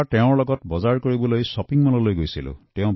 মই এবাৰ সামগ্ৰী কিনিবলৈ তেওঁৰ সৈতে শ্বপিং মললৈ গৈছিলো